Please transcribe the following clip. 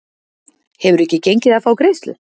Hefur ekki gengið frá greiðslu